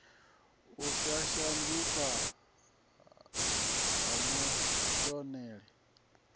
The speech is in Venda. u sa shanduka ha kuvhonele